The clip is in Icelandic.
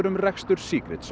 um rekstur